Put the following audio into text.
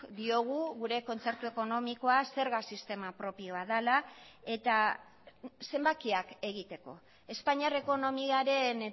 diogu gure kontzertu ekonomikoa zerga sistema propioa dela eta zenbakiak egiteko espainiar ekonomiaren